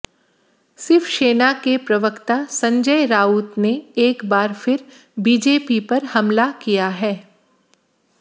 शिवसेना के प्रवक्ता संजय राउत ने एक बार फिर बीजेपी पर हमला किया है